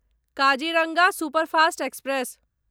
Kaziranga superfast express